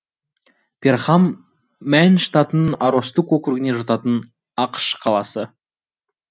перхам мэн штатының аростук округіне жататын ақш қаласы